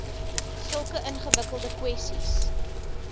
sulke ingewikkelde kwessies